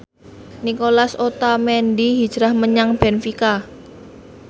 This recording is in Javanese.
Nicolas Otamendi hijrah menyang benfica